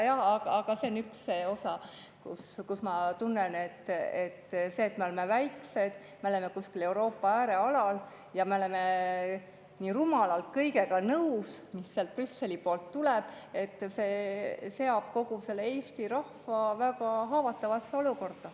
Jah, aga see on üks osa, mille puhul ma tunnen, et see, et me oleme väikesed, oleme kuskil Euroopa äärealal ja oleme nii rumalalt nõus kõigega, mis sealt Brüsseli poolt tuleb, seab kogu Eesti rahva väga haavatavasse olukorda.